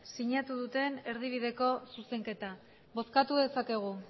sinatu duten erdibideko zuzenketa bozkatu dezakegu